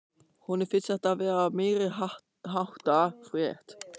Honum finnst þetta vera meiriháttar frétt!